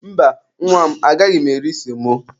Mba, nwa m agaghị m eri semo.